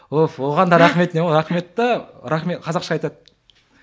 уф оған да рахметіне рахмет те рахмет қазақша айтады